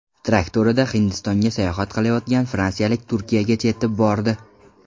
Traktorida Hindistonga sayohat qilayotgan fransiyalik Turkiyagacha yetib bordi.